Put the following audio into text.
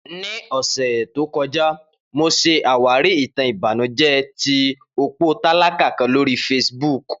Ni ọsẹ to kọja, Mo ṣe awari itan ibanujẹ ti opo talaka kan lori Facebook.